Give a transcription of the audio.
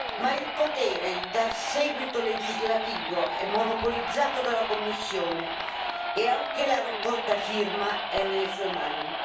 Ma il potere di dar seguito legislativo è monopolizzato dalla Commissione e anche la raccolta di firme è nelle sue mani.